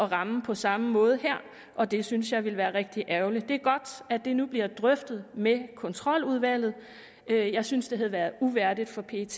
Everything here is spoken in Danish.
ramme på samme måde her og det synes jeg ville være rigtig ærgerligt det er godt at det nu bliver drøftet med kontroludvalget jeg synes at det havde været uværdigt for pet